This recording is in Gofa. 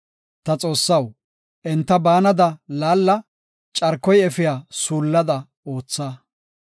Ta Xoossaw, enta baanada laalla; carkoy efiya suullada ootha.